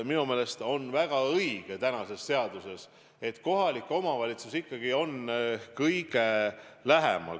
Muidugi see põhimõte seaduses, et kohalik omavalitsus ikkagi on kõige lähemal ja peab aitama, on väga õige.